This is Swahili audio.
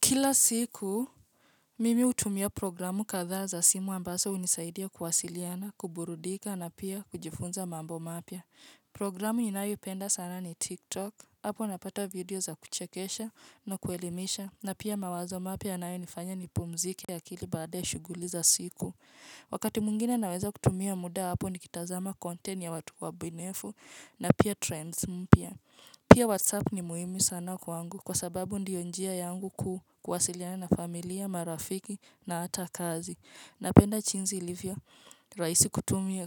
Kila siku, mimi utumia programu katha za simu ambazo unisaidia kuwasiliana, kuburudika, na pia kujifunza mambo mapya. Programu ninayo ipenda sana ni TikTok, hapo napata video za kuchekesha na kuelimisha, na pia mawazo mapya yanayo nifanya nipumzike kilia baada shughuli za siku. Wakati mwingine naweza kutumia muda hapo nikitazama content ya watu wa bunifu, na pia trends mpya. Pia WhatsApp ni muhimu sana kwa angu kwa sababu ndiyo njia yangu kuwasiliana na familia, marafiki na ata kazi. Napenda jinsi ilivyo, raisi